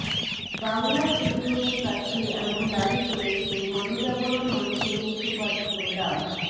বাংলা ট্রিবিউনের কাছে এমন দাবি করেছেন গণজাগরণমঞ্চের মুখপাত্র ডা